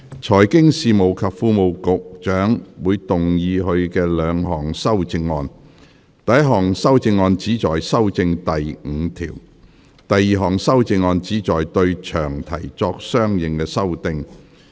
財經事務及庫務局局長會動議他的兩項修正案：第一項修正案旨在修正第5條；第二項修正案旨在對詳題作相應修訂。